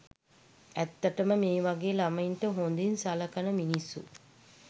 ඇත්තටම මේ වගේ ළමයින්ට හොදින් සළකන මිනිස්සු